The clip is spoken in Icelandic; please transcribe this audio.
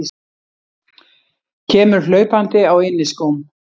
Kemur hlaupandi á inniskóm.